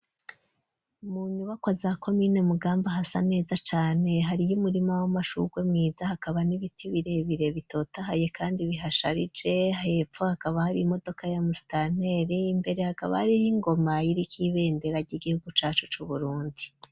Mu nyubakwa, za komine Mugamba, hasa neza cane; hariyo umurima w'amashurwe, mwiza, hakaba n'ibiti, birebire, bitotahaye, kandi bihasharije; hepfo hakaba, hari imodoka ya musitanteri, imbere hakaba hariho, ingoma iriko ibendera, ry'igihugu cacu c'Uburundi.